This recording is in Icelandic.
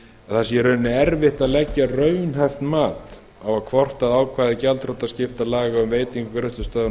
að ekki sé hægt að leggja raunhæft mat á það hvort að ákvæði gjaldþrotaskiptalaga um veitingu greiðslustöðvunar